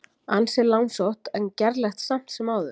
Ansi langsótt en gerlegt samt sem áður.